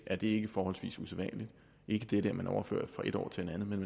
er det ikke forholdsvis usædvanligt ikke det at man overfører fra et år til et andet men